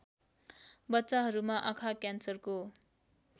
बच्चाहरूमा आँखा क्यान्सरको